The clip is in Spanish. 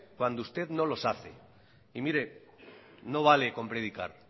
cuando usted no nos hace y mire no vale con predicar